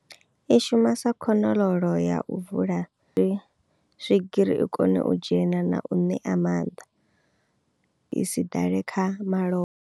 I shuma sa khonololo ya u vula dzi swigiri i kone u dzhena na u ṋea mannḓa i si ḓale kha malofha.